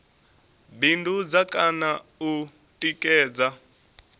bindudza kha na u tikedza